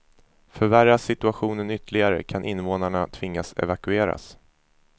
Förvärras situationen ytterligare kan invånarna tvingas evakueras.